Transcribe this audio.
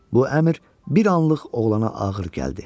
Bu əmr bir anlıq oğlana ağır gəldi.